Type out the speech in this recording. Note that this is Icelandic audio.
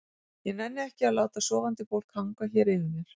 ég nenni ekki að láta sofandi fólk hanga hér yfir mér.